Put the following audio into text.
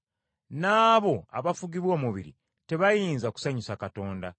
N’abo abafugibwa omubiri tebayinza kusanyusa Katonda.